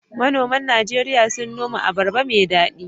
Manoman Najeriya suna noman abarba mai daɗi